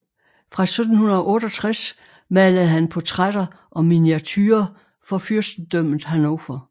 Fra 1768 malede han portrætter og miniaturer for fyrstendømmet Hannover